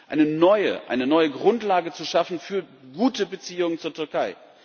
eine neue Grundlage zu schaffen für gute Beziehungen zur Türkei.